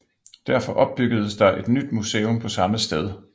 Derfor opbyggedes der et nyt museum på samme sted